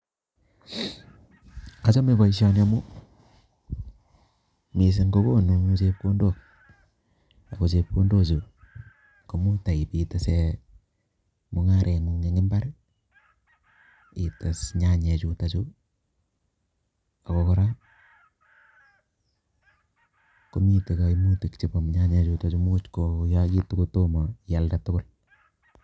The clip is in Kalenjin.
Achame boishoni amu mising ko konu chepkondok, aku chepkondochu ko much tai itise mung'are ng'ung eng mbar ites nyanyechuto chu ako kora ko miten kaimutik chebo nyanyechutochu much koyait ko tomo ialde tugul.